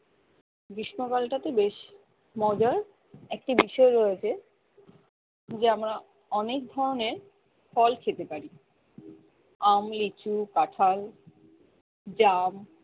গ্রীষ্মকাল টা তে বেশি মজার একটি বিষয় রয়েছে যে আমরা অনেক ধরণের ফল ফল খেতে পারি আম লিচু কাঁঠাল জাম